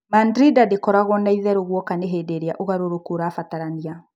Mandrinda ndĩkoragũo na itheru guoka nĩ hĩndĩĩrĩa ũgarũrũku ũrabatarania.